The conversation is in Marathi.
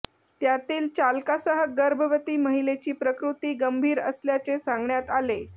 त्यातील चालकासह गर्भवती महिलेची प्रकृती गंभीर असल्याचे सांगण्यात आले